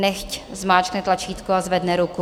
Nechť zmáčkne tlačítko a zvedne ruku.